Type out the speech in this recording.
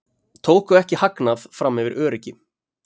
Tóku ekki hagnað fram yfir öryggi